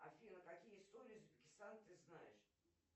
афина какие истории узбекистана ты знаешь